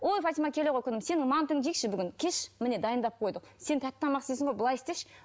ой фатима келе ғой күнім сенің мантыңды жейікші бүгін келші міне дайындап қойдық сен тәтті тамақ істейсін ғой былай істеші